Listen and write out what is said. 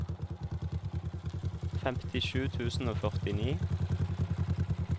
femtisju tusen og førtini